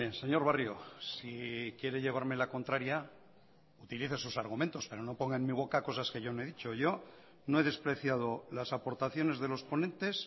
señor barrio si quiere llevarme la contraria utilice sus argumentos pero no ponga en mi boca cosas que yo no he dicho yo no he despreciado las aportaciones de los ponentes